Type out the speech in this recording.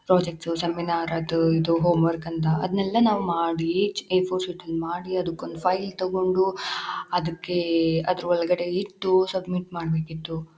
Projects seminar ಅದು ಇದು homework ಅಂತ ಅದ್ನೇಲ್ಲ ನಾವ್ ಮಾಡಿ ಎ ಫೋರ್ ಶೀಟ್ಅಲ್ ಮಾಡಿ ಅದುಕ್ಕೊಂದ್ ಫೈಲ್ ತಗೊಂಡು ಅದುಕ್ಕೇ ಅದ್ರೊಳಗ್ಇ ಟ್ಟು ಸಬ್ಮಿಟ್ ಮಾಡ್ಬೇಕಿತ್ತು .